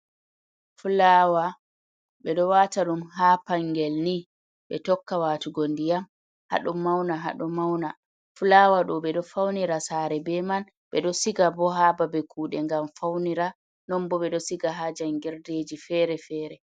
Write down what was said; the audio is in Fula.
Fulawa be do wata dum ha pangel ni be tokka watugo ndiyam hado mauna hado mauna, fulawa do bedo faunira sare be man be do siga bo hababe kude ngam faunira non bo be do siga ha jangirdeji fere-fere.